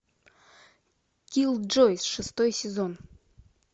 киллджойс шестой сезон